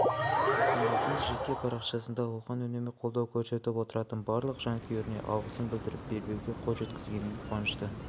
отандасымыз жеке парақшасында оған үнемі қолдау көрсетіп отыратын барлық жанкүйеріне алғысын білдіріп белбеуге қол жеткізгеніне қуанышты